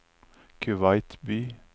Kuwait by